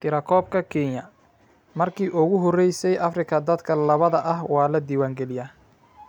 Tirakoobka Kenya: Markii ugu horeysay Afrika, dadka labbada ah waa la diiwaangeliyaa